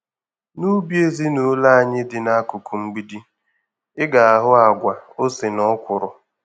N'ubi ezinụlọ anyị dị n'akụkụ mgbidi, ị ga-ahụ àgwà, ose na Ọkwụrụ.